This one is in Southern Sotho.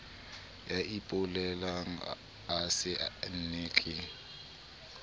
ya ipolelang o saenne ke